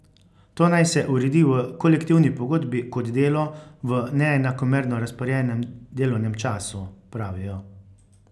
To naj se uredi v kolektivni pogodbi kot delo v neenakomerno razporejenem delovnem času, pravijo.